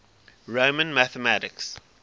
roman mathematics